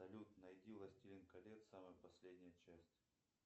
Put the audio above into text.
салют найди властелин колец самая последняя часть